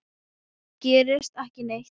Það gerist ekki neitt.